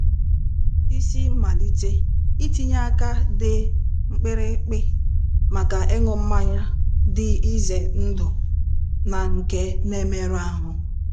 Isi mmalite: Ntinye aka dị mkpirikpi maka ịṅụ mmanya dị ize ndụ na nke na-emerụ ahụ